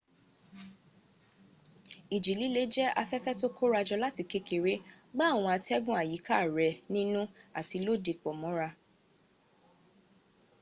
ìjì líle jẹ́ afẹ́fẹ́ tó kórajọ láti kékeré gbá àwọn atẹ́gùn àyíká rẹ̀ nínú àti lóde pọ̀ mọ́ra